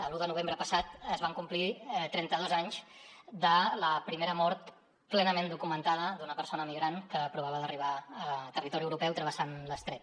l’un de novembre passat es van complir trenta dos anys de la primera mort plenament documentada d’una persona migrant que provava d’arribar a territori europeu travessant l’estret